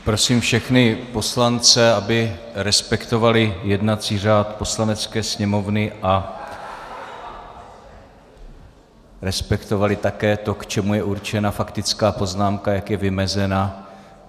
Prosím všechny poslance, aby respektovali jednací řád Poslanecké sněmovny a respektovali také to, k čemu je určena faktická poznámka, jak je vymezena.